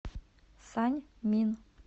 саньмин